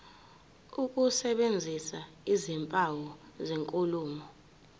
ukusebenzisa izimpawu zenkulumo